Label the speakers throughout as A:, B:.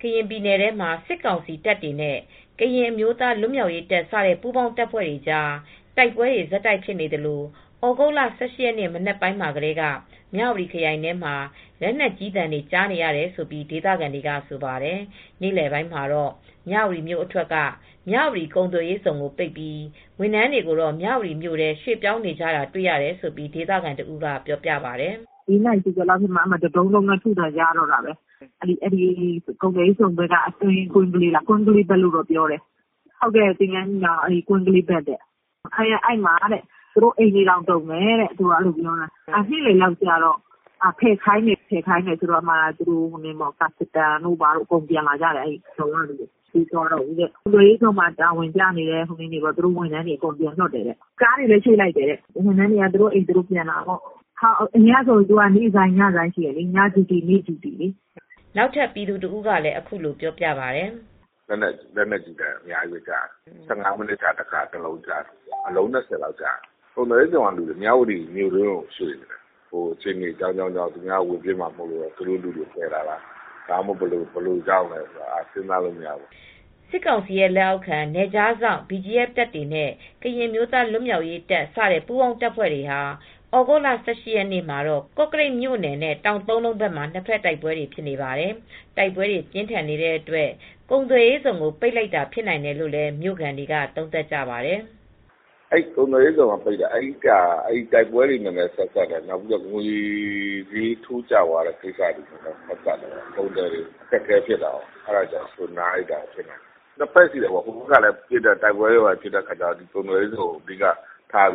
A: ကရင်ပြည်နယ်မှာ စစ်ကောင်စီတပ်တွေနဲ့ကရင်အမျိုးသားလွတ်မြောက်ရေးတပ် စတဲ့ပူးပေါင်းတပ်ဖွဲ့တွေကြားတိုက်ပွဲတွေဆက်တိုက်ဖြစ်နေသလို သြဂုတ်လ ၁၈ရက်နေ့ မနက်ပိုင်းကတည်းက မြဝတီခရိုင်ထဲမှာ လက်နက်ကြီးသံတွေကြားနေရတယ်လို့ဒေသခံတွေက ဆိုပါတယ်။ နေ့လည်ပိုင်းမှာတော့ မြဝတီမြို့အထွက် မြဝတီကုန်သွယ်ရေးဇုန် ကိုပိတ်ပြီး ဝန်ထမ်းတွေ မြဝတီမြို့ထဲရွှေေြ့ပာင်းနေကြတာတွေ့ရတယ်လို့ ဒေသခံတဦးက ပြောပြပါတယ်။
B: "၄နာရီကျော်ကတည်း တဒုန်းဒုန်းနဲ့ထုသံကြားနေရတော့တာပဲ။ ကုန်သွယ်ရေးဇုန်နားကအတွင်းကွင်းကလေး သင်္ကန်းညီနောင် ကွင်းကလေးရွာဘက်မှာ။ အဲဒီမှာ နေတဲ့သူတွေ သူတို့အိမ်တွေတောင်တုန်တယ်တဲ့။ နေ့လည်လောက်ကျတော့ ဖယ်ခိုင်းတယ်။ ကာစတန်တွေ (အကောက်ခွန်ဝန်ထမ်း) ကောအကုန်ပြန်လာကြတယ်။ အဲဒီရုံးကလူတွေ ပြန်မသွားကြတော့ဘူး။ ကုန်သွယ်ရေးဇုန်မှာတာဝန်ကျတဲ့ သူတို့ဝန်ထမ်းတွေကိုအကုန်ပြန်လွှတ်တယ်။ ကားတွေကိုလည်းရွှေ့လိုက်တယ်။ ဝန်ထမ်းတွေကသူတို့အိမ် သူတို့ပြန်လာကြတာပေါ့။ အရင်ကဆိုရင် နေ့ဆိုင်း၊ ညဆိုင်းရှိတယ်။ နေ့ဂျူတီ ၊
A: ညဂျူတီဆိုတာရှိတယ်" နောက်ထပ်ပြည်သူတဦးကလည်း အ
C: ခုလိုပြောပြပါတယ်။ "လက်နက်ကြီးသံအများကြီးကြားတယ်။ ၁၅မိနစ် ခြားတခါကြားတယ်။ အလုံး၂၀လောက်ရှိတယ်။ ကုန်သွယ်ရေးဇုန် ကလူတွေကတော့ မြဝတီမြို့တွင်းကိုရွှေ့ နေတယ်။ အခြေအနေတွေအကြောင်းကြောင်းကြောင့် ဒီညဝင်ပစ်မှာစိုးလို့ သူတို့လူတွေကိုကယ်လာတာလား၊ ဘယ်လိုအကြောင်းကြောင့်ဆိုတာမသိဘူး
A: " စစ်ကောင်စီရဲ့လက်အောက်ခံ နယ်ခြားစောင့်တပ် BGF တပ်တွေနဲ့ ကရင်အမျိုးသားလွတ်မြောက်ရေးတပ် စတဲ့ပူးပေါင်းတပ်ဖွဲ့တွေဟာ သြဂုတ်လ(၁၈) ရက်နေ့ ကော့ကရိတ်မြို့နယ်နဲ့ တောင်သုံးလုံးဘက်မှာ နှစ်ဖက်တိုက်ပွဲတွေလည်းဖြစ်နေပါတယ်။ တိုက်ပွဲတွေပြင်းထန်နေတဲ့အတွက် ကုန်သွယ်ရေးဇုန် ကိုပိတ်လိုက်တာလည်းဖြစ်နိုင်တယ်လို့ မြို့ခံတွေကသုံးသပ်ကြပါတယ်။
C: "ကုန်သွယ်ရေးဇုန် ကိုပိတ်တာက တိုက်ပွဲတွေနဲ့လည်းဆက်စပ်ပုံရတယ်။ ငွေဈေးထိုးကျတာလည်ဆက်စပ်တယ်။ကုန်သည်တွေအခက်အခဲဖြစ်နေလို့နားလိုက်တာလည်းဖြစ်နိုင်တယ်။ နှစ်ဖက်ရှိတယ်။ တိုက်ပွဲဖြစ်နေတာကြေင့်ကုန်သွယ်ရေးဇုန် ကိုအဓိ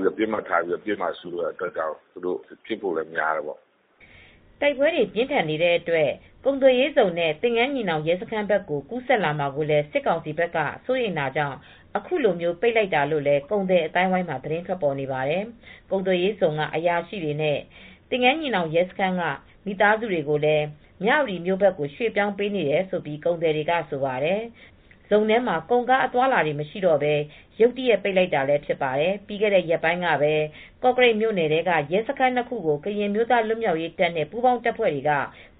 C: ကပစ်မှတ်ထားမှာကိုလည်းစိုးတဲ့ကြောင့်လဲဖြစ်ဖို့များတ
A: ယ်" တိုက်ပွဲတွေပြင်းထန်နေတဲ့အတွက် ကုန်သွယ်ရေးဇုန် နဲ့သင်္ကန်းညီနောင်ရဲစခန်းဘက် ကူးစက်လာမှာကို စစ်ကောင်စီဘက်က စိုးရိမ်တာကြောင့်အခုလို ပိတ်လိုက်တာလို့လည်း ကုန်သည်အသိုင်းအဝိုင်းမှာသတင်းထွက်ပေါ်နေပါတယ်။ ကုန်သွယ်ရေးဇုန် က အရာရှိတွေနဲ့ သင်္ကန်းညီနောင်ရဲစခန်းက မိသားစုတွေကိုလည်း မြဝတီဘက်ကို ရွေ့ပြောင်းပေးနေတယ်လို့ကုန်သည်တွေကဆိုပါတယ်။ ဇုန် ထဲမှာကုန်ကားအသွားအလာတွေမရှိတော့ပဲ ရုတ်တရက်ပိတ်လိုက်တာလည်းဖြစ်ပါတယ်။ ပြီးခဲ့တဲ့ရက်ပိုင်းကပဲ ကော့ကရိတ်မြို့နယ် ထဲကရဲစခန်း နှစ်ခု ကို ကရင်အမျိုးသားလွတ်မြောက်ရေးတပ်နဲ့ပူးပေါင်းတပ်ဖွဲ့တွေက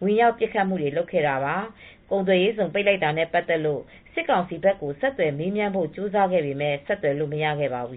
A: ဝင်ရောက်ပစ်ခတ်တာတွေလည်းရှိခဲ့ပါတယ်။ ကုန်သွယ်ရေးဇုန် ပိတ်လိုက်တာနဲ့ပတ်သက်လို့စစ်ကောင်စီဘက်ကိုဆက်သွယ်မေးမြန်းဖို့ကြိုးစားခဲ့ပေမယ့် ဆက်သွယ်လု့ိမရခဲ့ပါဘူး